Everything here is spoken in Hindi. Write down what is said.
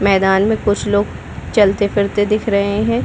मैदान में कुछ लोग चलते-फिरते दिख रहे है।